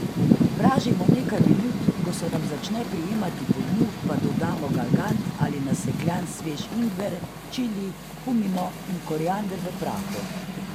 Pražimo nekaj minut, ko se nam začne prijemati po dnu, pa dodamo galgant ali nasekljan svež ingver, čili, kumino in koriander v prahu.